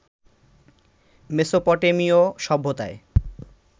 মেসোপটেমিয় সভ্যতায়